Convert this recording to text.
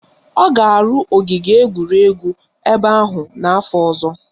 Ọ ga-arụ ogige egwuregwu ebe ahụ n'afọ ọzọ